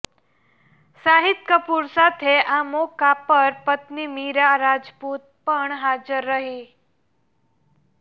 શાહિદ કપૂર સાથે આ મોકા પર પત્ની મીરા રાજપૂત પણ હાજર રહી